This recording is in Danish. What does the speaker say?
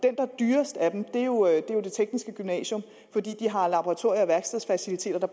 er dyrest af dem er jo det tekniske gymnasium fordi det har laboratorier og værkstedsfaciliteter der